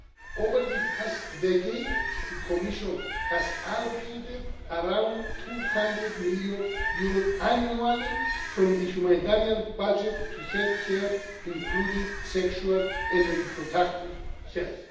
aid. Over the past decade, the Commission has allocated around EUR 200 million annually from the humanitarian budget to healthcare, including sexual and reproductive health.